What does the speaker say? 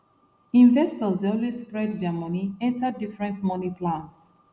investors dey always spread their money enter different money plans